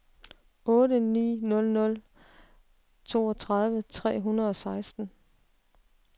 otte ni nul nul toogtredive tre hundrede og seksten